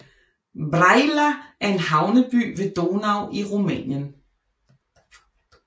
Brăila er en havneby ved Donau i Rumænien